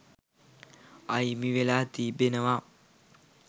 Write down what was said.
අහිමි වෙලා තිබෙනවා.